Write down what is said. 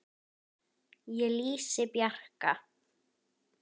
Ég lýsi Bjarka